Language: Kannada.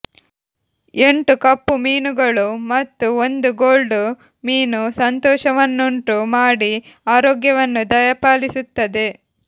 ಎಂಟು ಕಪ್ಪು ಮೀನುಗಳು ಮತ್ತು ಒಂದು ಗೋಲ್ಡ್ ಮೀನು ಸಂತೋಷವನ್ನುಂಟು ಮಾಡಿ ಆರೋಗ್ಯವನ್ನು ದಯಪಾಲಿಸುತ್ತದೆ